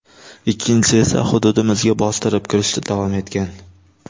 Ikkinchisi esa hududimizga bostirib kirishda davom etgan.